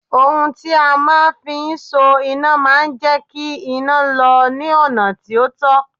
Ohun tí a máa ń fi ń so iná máa ń jẹ́ kí iná lọ ní ọ̀nà tí ó tọ́